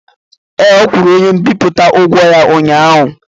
Ee, ọ kwụrụ onye mbipụta ụgwọ ya ụnyaahụ.